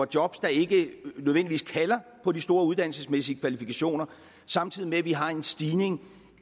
job der ikke nødvendigvis kalder på de store uddannelsesmæssige kvalifikationer samtidig med at vi har en stigning